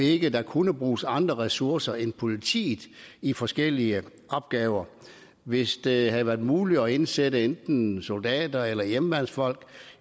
ikke kunne bruges andre ressourcer end politiet i forskellige opgaver hvis det havde været muligt at indsætte enten soldater eller hjemmeværnsfolk